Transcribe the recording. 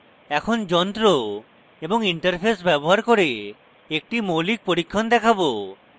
এখন যন্ত্র এবং interface ব্যবহার করে একটি মৌলিক পরীক্ষণ দেখাবো